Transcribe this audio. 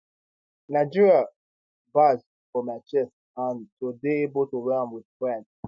[nigeria] badge for my chest and to dey able to wear am wit pride